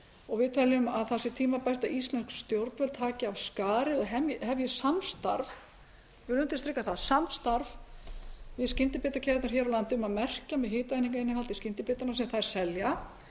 og við teljum að það sé tímabært að íslensk stjórnvöld taki af skarið og hefji samstarf ég undirstrika það samstarf við skyndibitakeðjurnar hér á landi um að merkja með hitaeiningainnihaldi skyndibitana sem þær selja